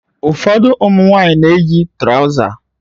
Ụfọdụ ụmụ nwanyị na-eyi turoza